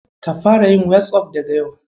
Ka fara yin "WhatsApp" daga yau.